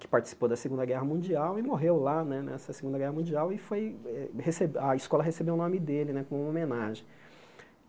que participou da Segunda Guerra Mundial e morreu lá né, nessa Segunda Guerra Mundial, e foi eh recebe a escola recebeu o nome dele né, como uma homenagem.